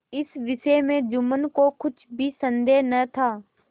इस विषय में जुम्मन को कुछ भी संदेह न था